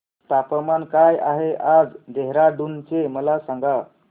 तापमान काय आहे आज देहराडून चे मला सांगा